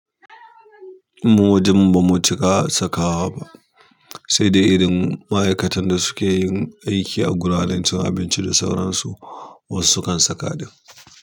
Mu wajanmu bamu cika sakawa ba, sai dai irin maikatan da suke aikin a wuraren cin abinci da sauran su, wasu sukan saka ɗin.